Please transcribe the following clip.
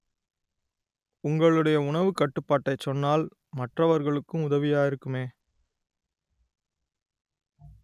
உங்களுடைய உணவுக் கட்டுப்பாட்டை சொன்னால் மற்றவர்களுக்கும் உதவியாக இருக்குமே